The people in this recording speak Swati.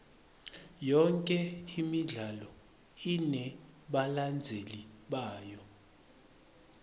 yonke imidlalo inebalandzeli bayo